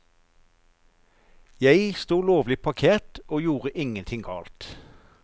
Jeg sto lovlig parkert, og gjorde ingenting galt.